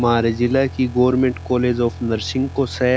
म्हारे जिले की गवर्नमेंट कॉलेज ऑफ़ नर्सिंग को स।